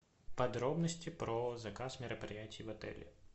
подробности про заказ мероприятий в отеле